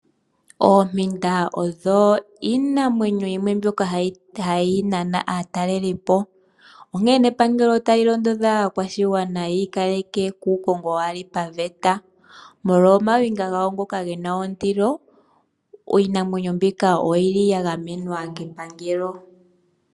Oompinda odho iinamwenyo yimwe mbyoka hayi nana aatalelipo, onkene epangelo ota li londodha aakwashigwana yiikaleke kuukongo waa li paveta. Molwa omayinga gawo ngoka gena ondilo iinamwenyo mbika oyi li ya gamenwa kepangelo.